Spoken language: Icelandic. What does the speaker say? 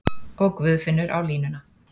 Og Guðfinnur á línuna!